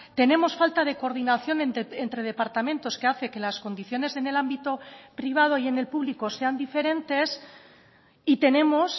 tenemos falta de coordinación entre departamentos que hace que las condiciones en el ámbito privado y en el publico sean diferentes y tenemos